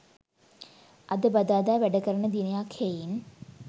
අද බදාදා වැඩ කරන දිනයක් හෙයින්